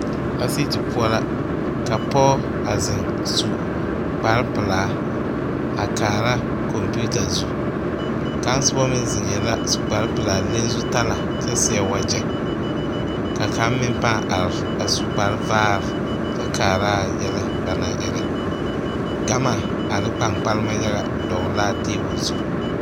Asiiti poɔ la ka pɔge a zeŋ su kparepelaa a kaara kɔmpeta zu kaŋ soba meŋ zeŋɛɛ la a su kparepelaa le zutalaa kyɛ seɛ wagyɛ ka kaŋ meŋ pãâ are a su kparevaare kyɛ kaaraa yɛlɛ ba naŋ erɛ gama ane kpankpalema yaga dɔgle la a tabol zu.